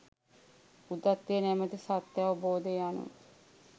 බුද්ධත්වය නමැති සත්‍යාවබෝධය යනු